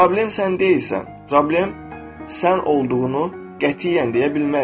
Problem sən deyilsən, problem sən olduğunu qətiyyən deyə bilmərik.